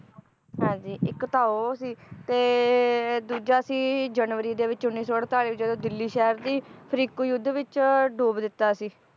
ਹਾਂਜੀ ਇੱਕ ਤਾਂ ਉਹ ਸੀ ਤੇ ਦੂਜਾ ਸੀ ਜਨਵਰੀ ਦੇ ਵਿਚ ਉੱਨੀ ਸੌ ਅੜਤਾਲੀ ਜਦੋਂ ਦਿੱਲੀ ਸ਼ਹਿਰ ਦੀ ਫ਼ਿਰਕੂ ਯੁੱਧ ਵਿਚ ਡੂਬ ਦਿਤਾ ਸੀ